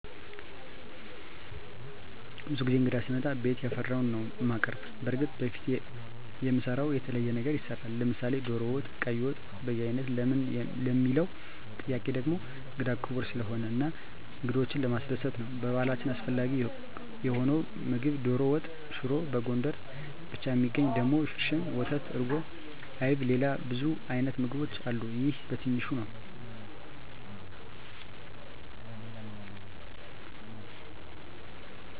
ብዙ ጊዜ እንግዳ ሲመጣ ቤት ያፈራዉን ነዉ እማቀርብ። በርግጥ በፊት ከምንሰራዉ የተለየ ነገር ይሰራል፤ ለምሳሌ ዶሮ ወጥ፣ ቀይ ወጥ፣ በያይነት ለምን ለሚለዉ ጥያቄ ደሞ እንግዳ ክቡር ስለሆነ እና እንግዶችን ለማስደሰት ነዉ። በባህላችን አስፈላጊ የሆነዉ ምግብ ዶሮ ወጥ፣ ሽሮ፣ በጎንደር ብቻ እሚገኝ ደሞ ሽርሽም፣ ወተት፣ እርጎ፣ አይብ፣ ሌላ ብዙ አይነት ምግቦች አሉ ይሄ በትንሹ ነዉ።